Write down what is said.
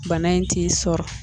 Bana in t'i sɔrɔ.